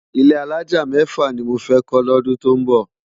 Ilé àlájá mèfá ni mó fè kó lódún tó nbó